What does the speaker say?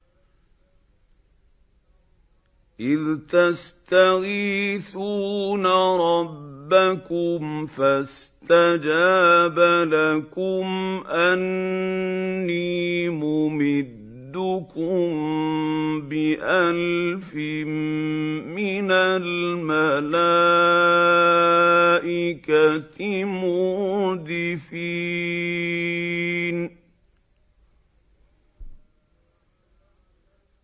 إِذْ تَسْتَغِيثُونَ رَبَّكُمْ فَاسْتَجَابَ لَكُمْ أَنِّي مُمِدُّكُم بِأَلْفٍ مِّنَ الْمَلَائِكَةِ مُرْدِفِينَ